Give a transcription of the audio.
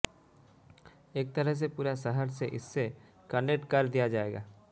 एक तरह से पूरा शहर से इससे कनेक्ट कर दिया जाएगा